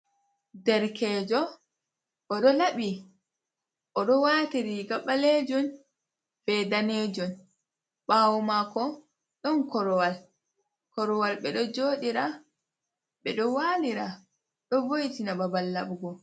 Derkejo, o ɗo laɓi. O ɗo wati riga ɓaleejum be daneejum. Ɓaawo maako, ɗon korwal. Korwal ɓe ɗo jooɗira, ɓe ɗo walira, ɗo vo'itina babal laɓugo.